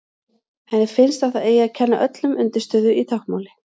Henni finnst að það eigi að kenna öllum undirstöðu í táknmáli.